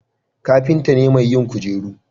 kafinta ne mai yin kujeru